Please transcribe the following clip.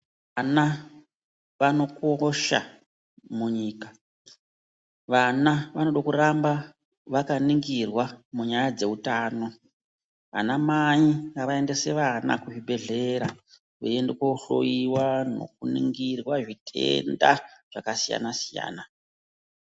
Vana vanokosha munyika. Vana vanoda kuramba vakaningirwa munyaya dzeutano. Vana mai ngavaendese vana kuzvibhehlera veiende kohlowiwa nekuningirwa zvitenda zvakasiyana-siyana.